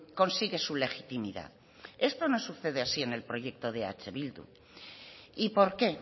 consigue su legitimidad esto no sucede así en el proyecto de eh bildu y por qué